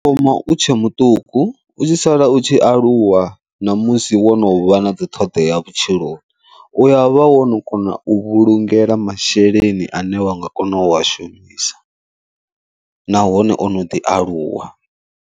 Ndo thoma u tshe muṱuku u tshi sala u tshi aluwa ṋamusi wo no vha na dziṱhoḓea vhutshiloni, uya vha wono kona u vhulungela masheleni ane wa nga kona u a shumisa nahone ono ḓi aluwa.